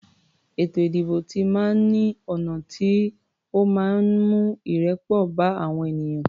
Ètò ìdìbò ti máa ń ní ọ̀nà tó máa ń mú ìrẹ́pọ̀ bá àwọn ènìyàn.